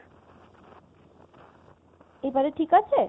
এবারে ঠিক আছে?